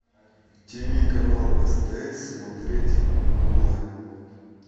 тв канал стс смотреть онлайн